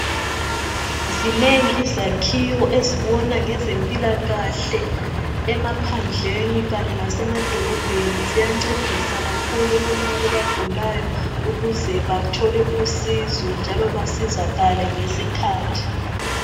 Zinengi izakhiwo ezibona ngezempilakahle emaphandleni kanye lasema dolobheni ziyancedisa kakhulu kulabo abagulayo ukuze bathole usizo njalo basizakale ngesikhathi.